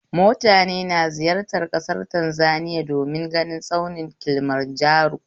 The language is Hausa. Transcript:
Mutane na ziyartar ƙasar Tanzaniya domin ganin tsaunin kilimanjaro